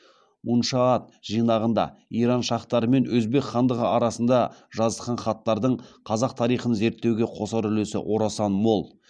муншаат жинағында иран шахтары мен өзбек хандығы арасында жазысқан хаттардың қазақ тарихын зерттеуге қосар үлесі орасан мол